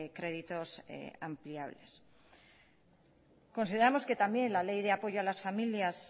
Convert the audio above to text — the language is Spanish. créditos ampliables consideramos que también la ley de apoyo a las familias